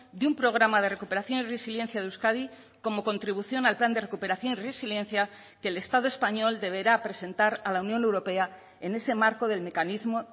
de un programa de recuperación y resiliencia de euskadi como contribución al plan de recuperación y resiliencia que el estado español deberá presentar a la unión europea en ese marco del mecanismo